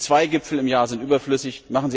Diese zwei Gipfel im Jahr sind überflüssig!